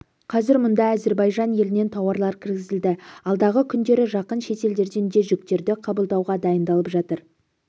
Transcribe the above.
қазір мұнда әзірбайжан елінен тауарлар кіргізілді алдағы күндері жақын шетелдерден де жүктерді қабылдауға дайындалып жатыр